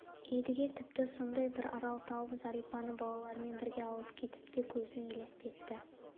едіге тіпті сондай бір арал тауып зәрипаны балаларымен бірге алып кетіп те көзіне елестетті